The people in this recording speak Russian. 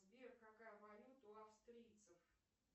сбер какая валюта у австрийцев